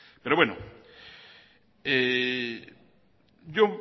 yo